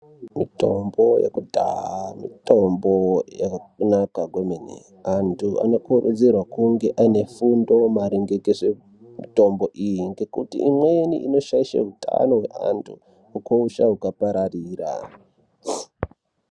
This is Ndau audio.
Mitombo yekudhaa mitombo yakanaka kwemene. Antu vano kurudzirwa kunge aine fundo maringe ngezve mitombo iyi. Imweni inoshaishe utano hweanhu ukosha huka pararira.